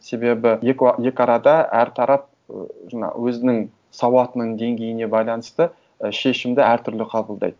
себебі екі арада әр тарап ыыы жаңа өзінің сауатының деңгейіне байланысты і шешімді әр түрлі қабылдайды